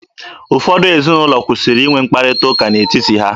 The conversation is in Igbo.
Ụfọdụ ezinụlọ kwụsịrị inwe mkpakọrịta n'etiti ha